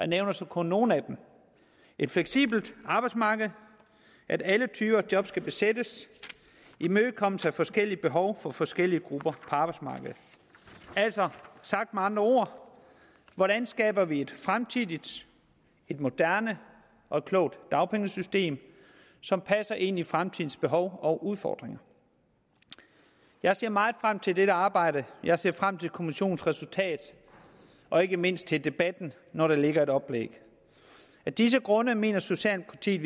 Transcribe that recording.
nævner så kun nogle af dem et fleksibelt arbejdsmarked at alle typer job skal besættes imødekommelse af forskellige behov for forskellige grupper arbejdsmarkedet altså sagt med andre ord hvordan skaber vi et fremtidigt et moderne og et klogt dagpengesystem som passer ind i fremtidens behov og udfordringer jeg ser meget frem til dette arbejde jeg ser frem til kommissionens resultat og ikke mindst til debatten når der ligger et oplæg af disse grunde mener socialdemokratiet